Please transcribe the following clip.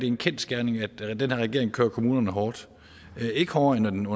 en kendsgerning at den her regering kører kommunerne hårdt det er ikke hårdere end den